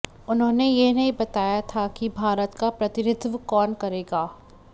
उन्होंने यह नहीं बताया था कि भारत का प्रतिनिधित्व कौन करेगा